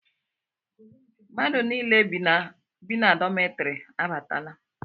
Mmadụ nile bi na dọmetiri abatala